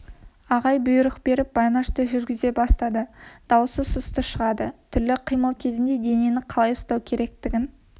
ағай бұйрық беріп байнашты жүргізе бастады даусы сұсты шығады түрлі қимыл кезінде денені қалай ұстау керектігін